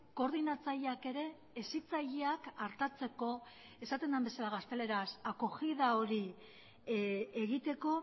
koordinatzaileak ere hezitzaileak artatzeko esaten den bezala gazteleraz acogida hori egiteko